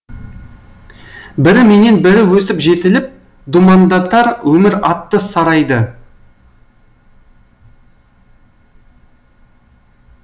бірі менен бірі өсіп жетіліп думандатар өмір атты сарайды